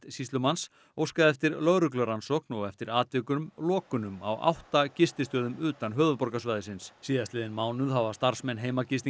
sýslumanns óskað eftir lögreglurannsókn og eftir atvikum lokunum á átta gististöðum utan höfuðborgarsvæðisins síðastliðinn mánuð hafa starfsmenn